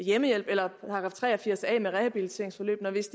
hjemmehjælp eller § tre og firs a rehabiliteringsforløb hvis